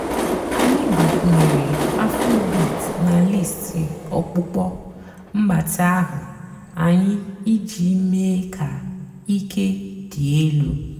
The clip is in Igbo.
ányị́ gbakwùnyèré afróbeat nà lístì ọ̀kpụ́kpọ́ m̀gbàtị́ àhú́ ànyị́ ìjì méé kà íke dị́ èlú.